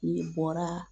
N'i bɔra